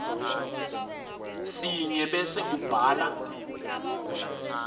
sinye bese ubhala